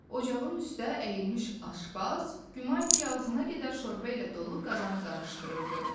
Ocağın üstdə əyilmiş aşpaz, güman ki, ağzına qədər şorba ilə dolu qazanı qarışdırırdı.